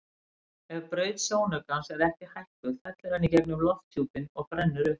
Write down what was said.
Ef braut sjónaukans er ekki hækkuð fellur hann í gegnum lofthjúpinn og brennur upp.